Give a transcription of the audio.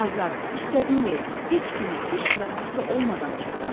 Azad, istədiyin yerə, heç kimdən, heç nədən asılı olmadan uçasan.